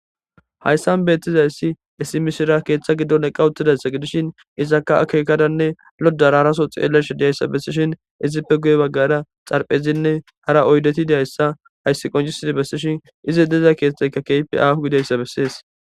hayssan beettiza issi isimishira keeththa giddon eqqawuttidayssa gidishin izakka akeekadanne lodararaso xeelesh diyayssa bessishin izippe guye baggara xarphezinne hara oydeti diyayssa hayssi qonjisidi bessishin izi deza keeththayka keypi ahu gidayssa bessees